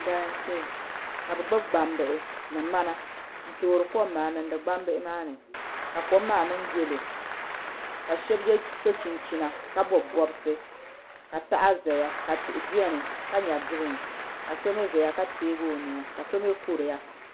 Galamsee ka bi gbuni gbambihi ni ŋmana n toori kom maa niŋdi gbambihi maa ni ka kom maa niŋ yɛlo ka shab so chinchina bob bobsi ka paɣa ʒɛya ka tihi biɛni ka nyɛ giriin ka so mii ʒɛya ka tiɛgi o nuu ka so mii kuriya